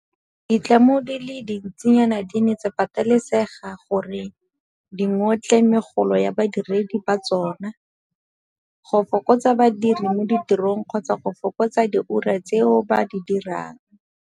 Ditlamo di le dintsinyana di ne tsa patelesega gore di ngotle megolo ya badiredi ba tsona, go fokotsa badiri mo tirong kgotsa go fokotsa diura tseo ba di dirang.